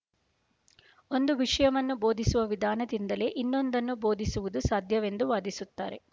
ಒಂದು ವಿಷಯವನ್ನು ಬೋಧಿಸುವ ವಿಧಾನದಿಂದಲೇ ಇನ್ನೊಂದನ್ನು ಬೋಧಿಸುವುದು ಸಾಧ್ಯವೆಂದು ವಾದಿಸುತ್ತಾರೆ